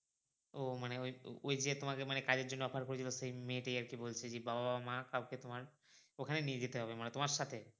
ও মানে ওই ওই যে মানে তোমাকে যে কাজের জন্য offer করেছিলো সেই মেয়ে টি আরকি বলছে জি বাবা বা মা কাউকে তোমার কোথায় নিয়ে যেতে হবে মানে তোমার সাথে?